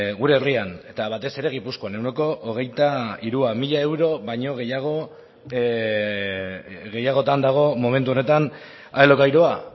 gure herrian eta batez ere gipuzkoan ehuneko hogeita hirua mila euro baino gehiagotan dago momentu honetan alokairua